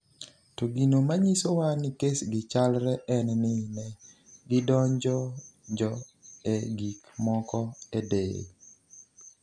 "To gino manyisowa ni kes gi chalre en ni ne gidonjonjo e gik moko e del."""